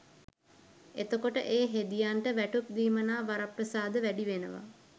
එතකොට ඒ හෙදියන්ට වැටුප් දීමනා වරප්‍රසාද වැඩි වෙනවා